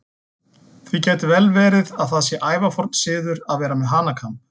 Því gæti vel verið að það sé ævaforn siður að vera með hanakamb.